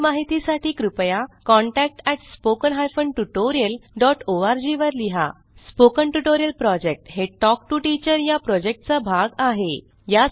अधिक माहितीसाठी कृपया contact at spoken hyphen tutorial dot org वर लिहा स्पोकन ट्युटोरियल प्रॉजेक्ट हे टॉक टू टीचर या प्रॉजेक्टचा भाग आहे